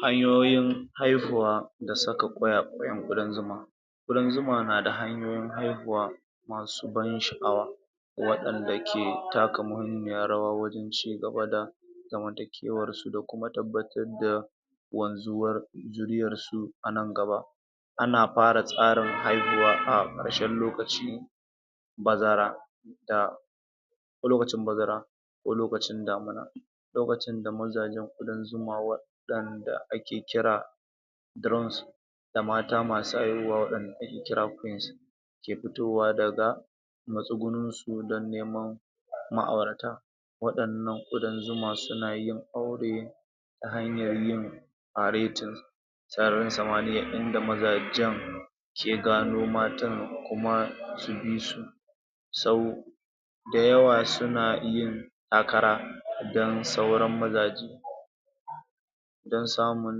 hanyoyin haihuwa da saka kwaya-kwai ƙudan zuma ƙudan zuma na da hanyoyin haihuwa masu ban sha'awa waɗan da ke taka muhimmiyar rawa wajen cigaba da zamantakewar su da kuma tabbatar da wanzuwar zuriyar su anan gaba ana fara tsara haihuwa a ƙarshen lokaci bazara da ko lokacin bazara ko lokacin damuna lokacin da mazajen ƙudan zuma waɗanda ake kira dronce da mata masu haihuwa wanda ake kira queens ke fitowa daga matsugunnin su don neman maaurata waɗannan ƙudan zuma sunayin aure a hanyar yin parating sararin samaniya inda mazajen ke gano matan kuma su bisu sau da yawa suna iya yin takara don sauran mazaje don samun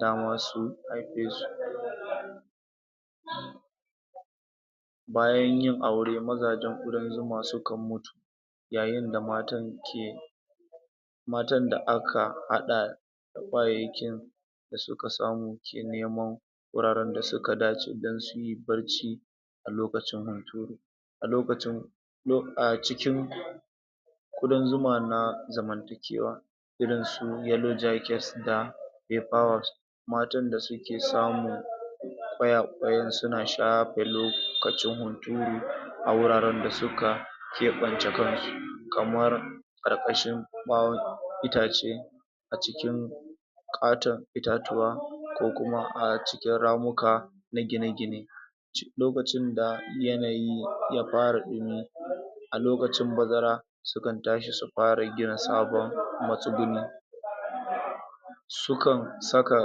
daman su ake so vayan yin aure mazajen ƙudan zuma sukan mutu yayin da matan ke matan da aka haɗa kwayayyakin da suka samu ke neman wuraren da suka dace dan suyi bacci a lokacin hunturu a lokacin yin kwai cikin ƙudan zuma na zamantakewa irin su yellow jackess da yepawax matan da suke samu kwayakwai suna shafa lokacin hunturu ta wuraren da suka keɓance kansu kamar ƙarkashin kulawan itace a cikin katon itatuwa ko kuma a cikin ramuka na gine gine lokacin da yanayi ya fara ɗumi a lokacin bazara sukan tashi su fara gina sabon matsugunni su kan saka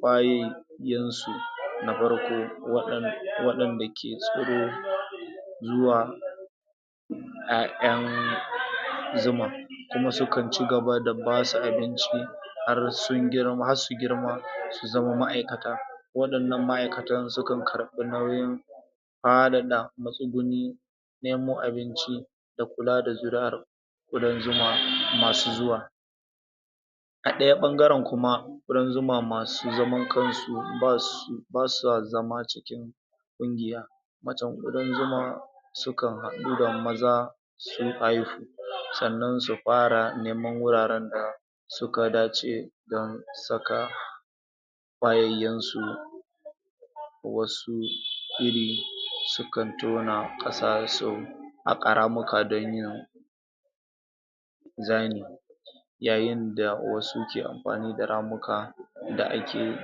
kwai yan su na farko waɗa waɗanda ke tsuro zuwa a ɗan zuma kuma sukan cigaba da basu abinci har sun girma harsu girma su zama ma'aikata waɗannan ma'aikatan sukan ƙarbi nauyin kowana da matsugunni nemo abinci da kula da zurri'ar ƙudan zuma masu zuwa ta ɗayan ɓangaren kuma ƙudan zuma masu zaman kansu basu basa zama cikin kungiya maccen ƙudan zuma sukan haɗu da maza su haihu sannan su fara neman wuraren da suka dace zan saka kwayayyakin su wasu iri su kan tona kasa sau haƙa tamuka don yin zani yayin da wasu ke amfani da ramuka da ake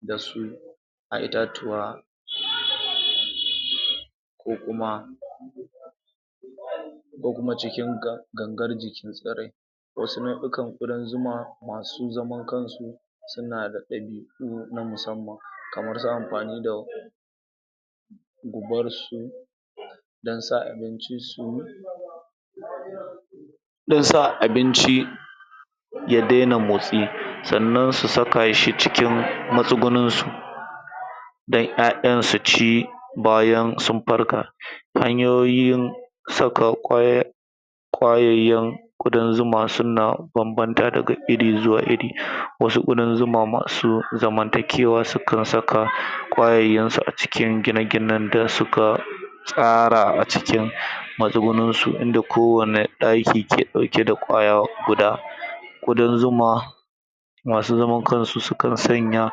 da su a itatuwa? ko kuma ko kuma cikin gan gangar jiki tsarai wasu nauyukan ƙudan zuma masu zaman kansu suna da ɗabi'u na musamman kamar su amfani da gubar su ɗan sa amin kin suwu dan sa abinci ya daina motsi sannan su sakashi cikin matsugunnin su dan ƴa'ƴan su su ci bayan sun farka hanyoyin saka kwai kwayoyin ƙudan zuma suna bambanta daga iri zuwa iri wasu ƙudan zuma masu zamantakewa sukan saka kwayayyakin su a cikin gine gine da suka tsara a cikin matsugunnin su inda kowanne yayi cike yake da kwayar ƙuda ƙudan zuma masu zaman kansu sukan sanya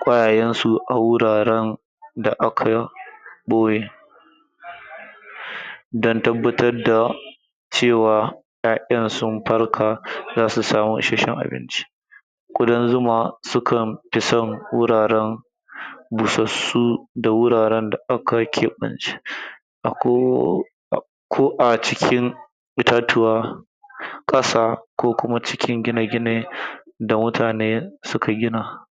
kwayayen su a wuraren da aka boye dan tabbatar da cewa ƴa'ƴan sun farka zasu samu ishashen abinci ƙudan zuma sukan fi son wuraren busassu da wuraren da aka keɓance da ko ko a cikin itatuwa kasa ko kuma cikin gine gine da mutane suka gina